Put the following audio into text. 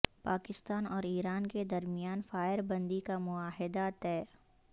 پاکستان اور ایران کے درمیان فائر بندی کا معاہدہ طے